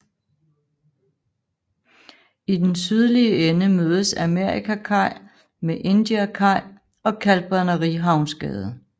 I den sydlige ende mødes Amerikakaj med Indiakaj og Kalkbrænderihavnsgade